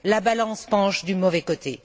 La balance penche du mauvais côté.